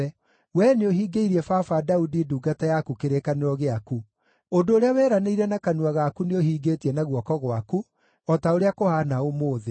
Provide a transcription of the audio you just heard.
Wee nĩũhingĩirie baba Daudi, ndungata yaku, kĩrĩkanĩro gĩaku; ũndũ ũrĩa weranĩire na kanua gaku nĩũhingĩtie na guoko gwaku, o ta ũrĩa kũhaana ũmũthĩ.